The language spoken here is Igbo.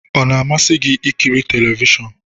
Ọ na-amasị gị ịkịrị telivishọn?